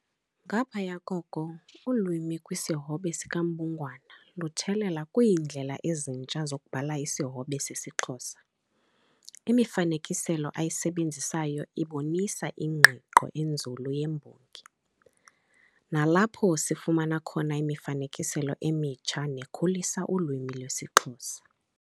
Ngaphaya koko, ulwimi kwisihobe sikaMbungwana luthelela kwindlela ezintsha zokubhala isihobe sesiXhosa. Imifanekiselo ayisebenzisayo ibonisa ingqiqo enzulu yembongi, nalapho sifumana imifanekiselo emitsha, nekhulisa ulwimi lwesiXhosa.